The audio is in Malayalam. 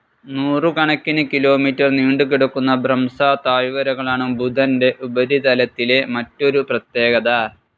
നൂറുകണക്കിന് കിലോമീറ്റർ നീണ്ടുകിടക്കുന്ന ഭ്രംസ താഴ്വരകളാണ് ബുധൻ്റെ ഉപരിതലത്തിലെ മറ്റൊരു പ്രത്യേകത.